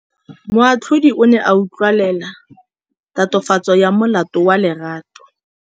Moatlhodi o ne a utlwelela tatofatsô ya molato wa Lerato.